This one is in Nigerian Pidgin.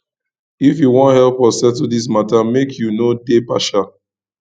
if you wan help us settle dis mata make you no dey partial